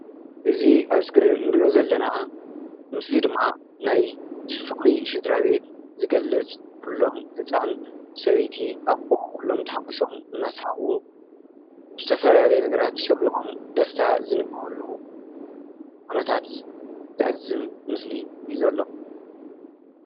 እዚ ኣብ እስክሪን ንሪኦ ዘለና ምስሊ ድማ ናይ ፍቅሪ ስድራቤት ዝገልፅ ኩሎም ህፃን ሰበይቲ ኣቦ ኩሎም ተሓጉሶም እናስሓቁ ብዝተፈላለዩ ነገራት ሽብርቆም ደስታ ዝንበበሉ ኩነታት ዘዕዝብ ምስሊ እዩ ዘሎ ።